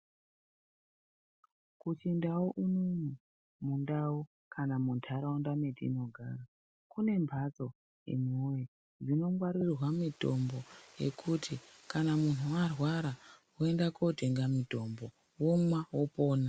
Kuchindau unono, mundau kana muntaraunda metinogara kune mhatso imiwoye dzinongwarirwa mitombo yekuti kana munhu arwara oenda kotenga mitombo omwa opona.